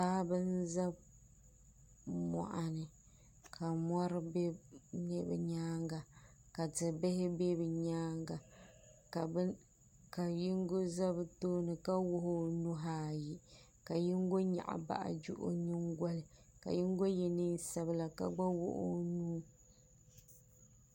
paɣaba n za moɣuni ka mori be bɛ nyaanga ka tibihi be bɛ nyaanga ka yingo za bɛ tooni ka wuɣi o nuhi ayi ka yingo nyaɣi baaji o nyingoli ka yingo ye liiga sabla ka wuɣi o nuu.